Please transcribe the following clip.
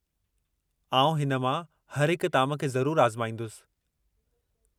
आउं हिन मां हर हिक ताम खे ज़रूरु आज़माईंदुसि।